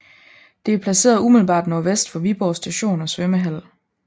Det er placeret umiddelbart nordvest for Viborg Station og svømmehal